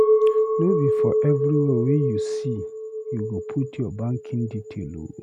No be for everywhere wey you see you go put your banking detail o.